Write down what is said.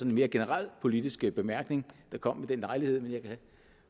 en mere generel politisk bemærkning der kom ved den lejlighed men jeg kan